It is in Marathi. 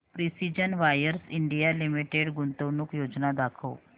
प्रिसीजन वायर्स इंडिया लिमिटेड गुंतवणूक योजना दाखव